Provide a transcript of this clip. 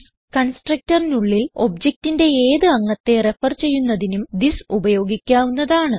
constructorനുള്ളിൽ objectന്റെ ഏത് അംഗത്തെ റെഫർ ചെയ്യുന്നതിനും തിസ് ഉപയോഗിക്കാവുന്നതാണ്